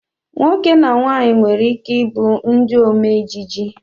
Nwoke na nwanyị nwere ike ịbụ ndị omeejije